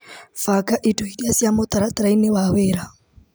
Banga indo iria ci mũtaratara-ini wa wĩra.